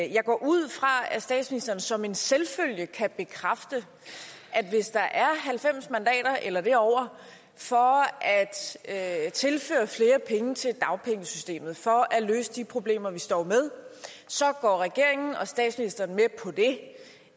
jeg går ud fra at statsministeren som en selvfølge kan bekræfte at hvis der er halvfems mandater eller derover for at tilføre flere penge til dagpengesystemet for at løse de problemer vi står med så går regeringen og statsministeren med på det